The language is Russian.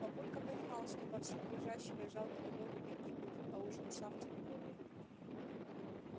папулька понимал что барсук лежащего и жалкого леву бить не будет а уж он сам тем более